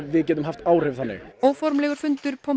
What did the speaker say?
við getum haft áhrif þannig óformlegur fundur